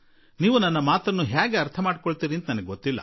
ನನ್ನ ಮಾತುಗಳನ್ನು ನೀವು ಯಾವ ರೂಪದಲ್ಲಿ ಸ್ವೀಕರಿಸುವಿರಿ ಎಂದು ನನಗೆ ಗೊತ್ತಿಲ್ಲ